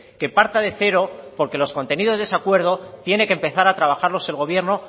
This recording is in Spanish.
que parta de cero porque los contenidos de ese acuerdo tienen que empezar a trabajarlos el gobierno